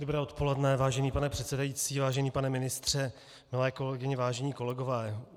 Dobré odpoledne, vážený pane předsedající, vážený pane ministře, milé kolegyně, vážení kolegové.